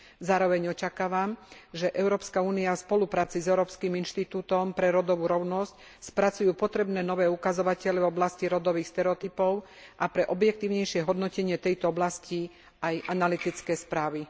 Zároveň očakávam, že Európska únia v spolupráci s Európskym inštitútom pre rodovú rovnosť spracujú potrebné nové ukazovatele v oblasti rodových stereotypov a pre objektívnejšie hodnotenie tejto oblasti aj analytické správy.